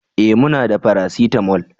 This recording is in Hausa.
eh muna da paracetamol